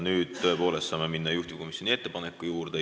Nüüd saame tõepoolest minna juhtivkomisjoni ettepaneku juurde.